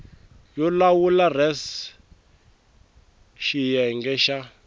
yo lawula res xiyenge xa